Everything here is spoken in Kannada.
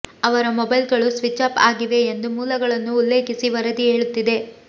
ಅವರ ಮೊಬೈಲ್ಗಳು ಸ್ವಿಚ್ ಆಫ್ ಆಗಿವೆ ಎಂದು ಮೂಲಗಳನ್ನು ಉಲ್ಲೇಖಿಸಿ ವರದಿ ಹೇಳುತ್ತಿದೆ